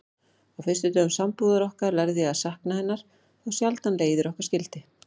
Á fyrstu dögum sambúðar okkar lærði ég að sakna hennar þá sjaldan leiðir okkar skildi.